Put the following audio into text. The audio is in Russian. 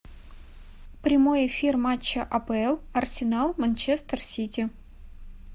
прямой эфир матча апл арсенал манчестер сити